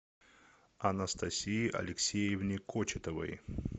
анастасии алексеевне кочетовой